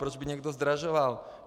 Proč by někdo zdražoval?